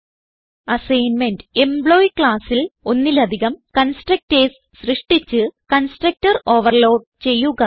assignment employee classൽ ഒന്നിലധികം constructors സൃഷ്ടിച്ച് കൺസ്ട്രക്ടർ ഓവർലോഡ് ചെയ്യുക